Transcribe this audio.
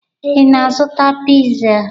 Ị na-azụta piza?